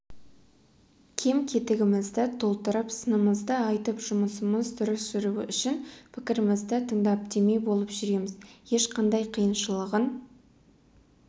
кем-кетігімізді толтырып сынымызды айтып жұмысымыз дұрыс жүруі үшін пікірімізді тыңдап демеу болып жүреміз ешқандай қиыншылығын